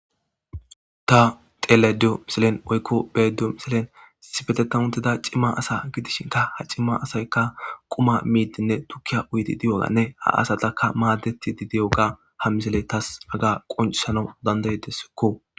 Ta telediyo miselen oykko beedo misilen sifetetauntida cimma asa gidishinka ha cimma asaykka quma miidinne tukkiya uyti diyoganne ha asatakka maaddeti di diyoga ha misele tas aga qonceshano dandayedesekko.